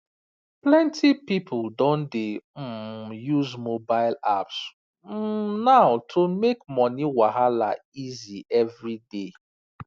plenty people don dey um use mobile apps um now to make money wahala easy every day